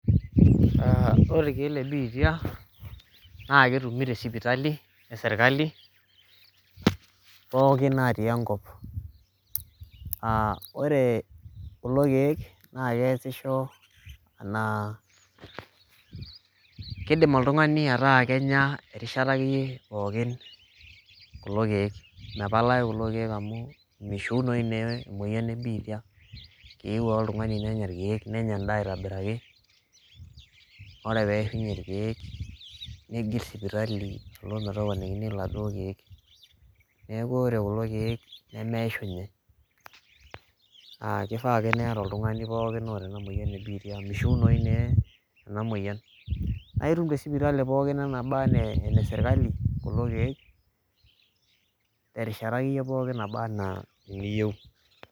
The medicine of HIV/AIDS are found in the hospital in the whole country and this medicine are helping or someone can take them at anytime this medicine because you can't get heal of this disease it just need one to take medicine and take food and goes back to the hospital to be given other medicine so this medicine can't get exhausted ah it only needs everyone who has this disease to be taking medicine because you can't get heal and you will get all this medicine at any government hospital at anytime you need .